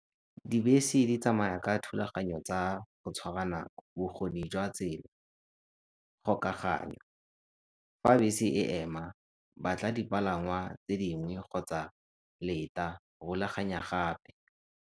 Dibese di tsamaya ka thulaganyo tsa go tshwara nako, bokgoni jwa tsela, kgokaganyo. Fa bese e ema, batla dipalangwa tse dingwe kgotsa leta, rulaganya gape.